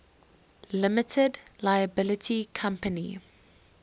limited liability company